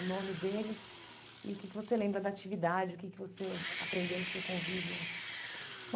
O nome deles e o que que você lembra da atividade, o que que você aprendeu do seu convívio.